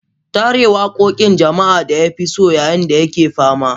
Ta rera wakokin jama'a da ya fi so yayin da yake fama.